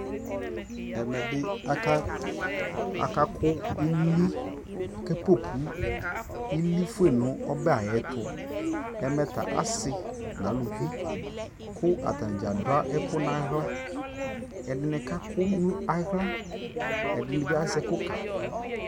ɛmɛ bi aka kʋ ili aka pɔpʋ ili ƒʋɛ nʋ ɔbɛ ayɛtʋ, ɛmɛ ta asii nʋ alʋvi kʋ atani gya adʋ ɛkʋ nʋ ala, ɛdini kakʋ nʋ ala ɛdini bi azɛ ɛkʋ kakʋ